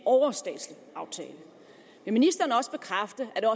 overstatslig aftale kan ministeren også bekræfte at